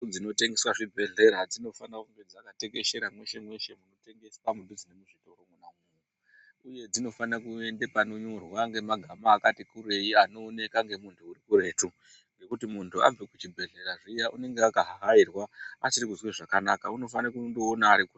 Ndau dzinotengeswa zvibhehlera dzinofana kunge dzakatekeshera mweshe mwese munotengeswa zviro uye dzinofana kuende panonyorwa nemagama akati kurei anooneka ngemuntu urikuretu ngokuti muntu abve kuchibhedhlera zviya unenge akahahairwa, asiri kuzwe zvakanaka, unofana kundoona arikure.